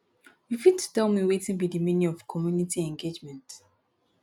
you fit tell me wetin be di meaning of community engagement